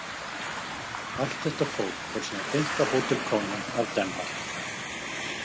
Allt þetta fólk fór síðan beint á Hotel Kongen af Danmark.